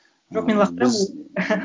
жоқ мен лақтырамын